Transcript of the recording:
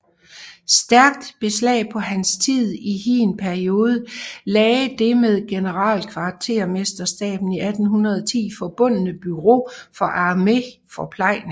Stærkt beslag på hans tid i hin periode lagde det med generalkvartermesterstaben i 1810 forbundne Bureau for armeens forplejning